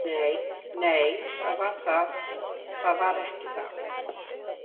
Nei, það var ekki það, Edda.